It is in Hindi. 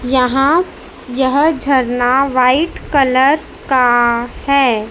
यहां यह झरना व्हाइट कलर का है।